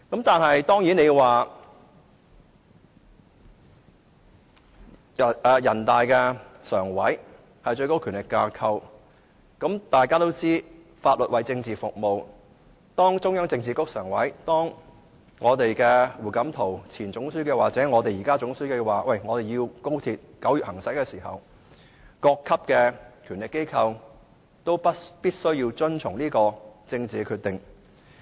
當然，人大常委會是最高權力架構，大家都知道，法律為政治服務，當中央政治局常委，當前總書記胡錦濤或現任總書記表示高鐵要在9月通車的時候，各級權力機構必須遵從這項政治決定。